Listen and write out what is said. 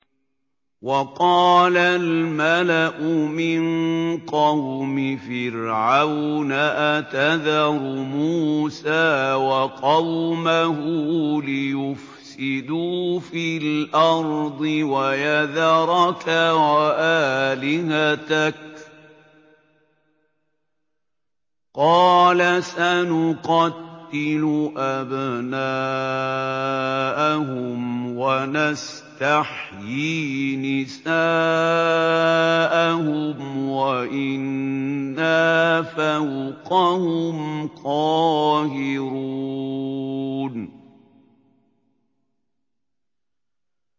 وَقَالَ الْمَلَأُ مِن قَوْمِ فِرْعَوْنَ أَتَذَرُ مُوسَىٰ وَقَوْمَهُ لِيُفْسِدُوا فِي الْأَرْضِ وَيَذَرَكَ وَآلِهَتَكَ ۚ قَالَ سَنُقَتِّلُ أَبْنَاءَهُمْ وَنَسْتَحْيِي نِسَاءَهُمْ وَإِنَّا فَوْقَهُمْ قَاهِرُونَ